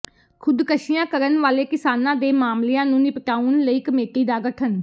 ਖ਼ੁਦਕਸ਼ੀਆਂ ਕਰਨ ਵਾਲੇ ਕਿਸਾਨਾਂ ਦੇ ਮਾਮਲਿਆਂ ਨੂੰ ਨਿਪਟਾਉਣ ਲਈ ਕਮੇਟੀ ਦਾ ਗਠਨ